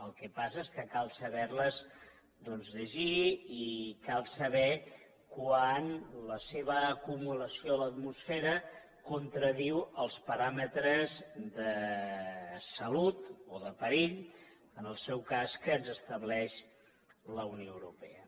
el que passa és que cal saber les llegir i cal saber quan la seva acumulació a l’atmosfera contradiu els paràmetres de salut o de perill en el seu cas que ens estableix la unió europea